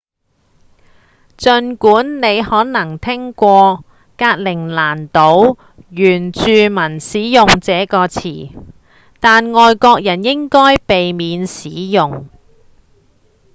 儘管你可能聽過格陵蘭島原住民使用這個詞但外國人應該避免使用